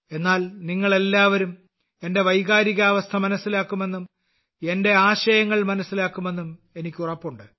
എന്നാൽ നിങ്ങൾ എല്ലാവരും എന്റെ വൈകാരികാവസ്ഥ മനസ്സിലാക്കുമെന്നും എന്റെ ആശയങ്ങൾ മനസ്സിലാക്കുമെന്നും എനിക്ക് ഉറപ്പുണ്ട്